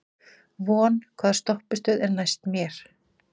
Von, hvaða stoppistöð er næst mér?